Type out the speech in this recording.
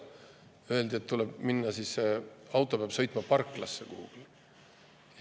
Öeldi, et selleks peab auto sõitma kuhugi parklasse.